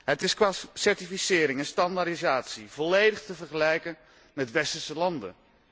Het is qua certificering en standaardisatie volledig te vergelijken met westerse landen.